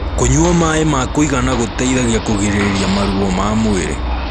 kũnyua maĩ ma kuigana gũteithagia kũgirĩrĩrĩa maruo ma mwĩrĩ